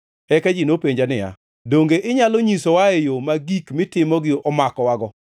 Eka ji nopenja niya, “Donge inyalo nyisowae yo ma gik mitimogi omakowago?”